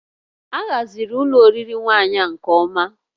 A haziri ụlọ oriri nwaanyị nke ọma